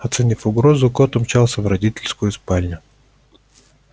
оценив угрозу кот умчался в родительскую спальню